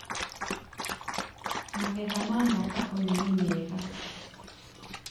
Magetha ma mwaka ũyũ nĩ mega.